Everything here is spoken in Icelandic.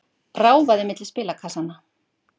Ráfaði milli spilakassanna.